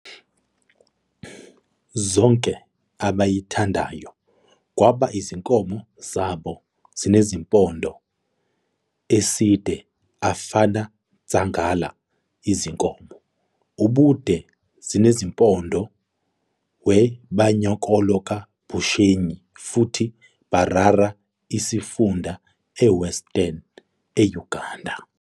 Zonke abayithandayo kwaba izinkomo zabo zinezimpondo eside afana Nsagala izinkomo ubude zinezimpondo we Banyankole ka Bushenyi futhi Mbarara Izifunda eWestern Uganda.